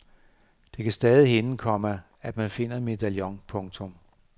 Det kan stadig hænde, komma at man finder en medaljon. punktum